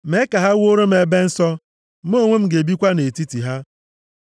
“Mee ka ha wuoro m ebe nsọ. Mụ onwe m ga-ebikwa nʼetiti ha.